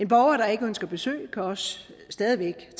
borger der ikke ønsker besøg kan også stadig væk